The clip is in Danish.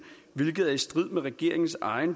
hvilket er i strid med regeringens eget